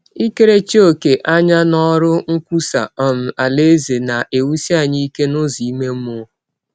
Ikerechi ọ̀kè anya n’ọrụ nkwụsa um Alaeze na - ewụsi anyị ike n’ụzọ ime mmụọ.